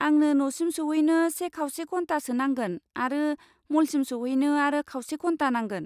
आंनो न'सिम सौहैनो से खावसे घन्टासो नांगोन आरो म'लसिम सौहैनो आरो खावसे घन्टा नांगोन।